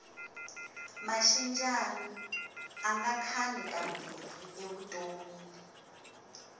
maxindyani anga khani ka mbirhi evutonwini